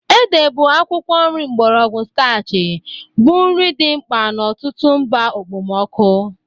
Ede bụ akwụkwọ nri mgbọrọgwụ starchy bụ nri dị mkpa n'ọtụtụ mba okpomọkụ.